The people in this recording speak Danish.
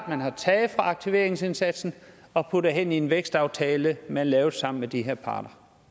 man har taget fra aktiveringsindsatsen og puttet hen i en vækstaftale man lavede sammen med de her parter